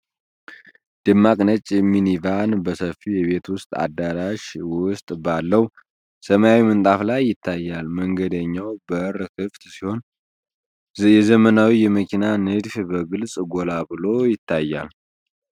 ደማቅ ነጭ ሚኒቫን በሰፊው የቤት ውስጥ አዳራሽ ውስጥ ባለው ሰማያዊ ምንጣፍ ላይ ይታያል። የመንገደኛውን በር ክፍት ሲሆን፣ የዘመናዊው የመኪና ንድፍ በግልጽ ጎላ ብሎ ይታያል።